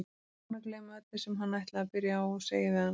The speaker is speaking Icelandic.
Búinn að gleyma öllu sem hann ætlaði að byrja á að segja við hana.